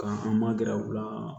Ka u ma gɛrɛ u la